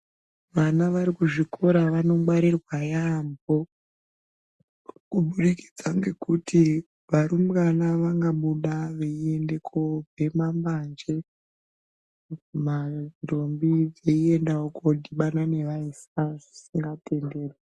Vana varikuzvikora vanogwrirwa yaamho, kubudikidza ngekuti varumbwana vangabuda veiende kobhema mbanje, ndombi dzeiendawo kondibana nevaisa zvisingatenderwi.